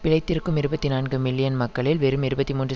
பிழைத்திருக்கும் இருபத்தி நான்கு மில்லியன் மக்களில் வெறும் இருபத்தி மூன்று